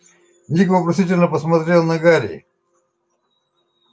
ник вопросительно посмотрел на гарри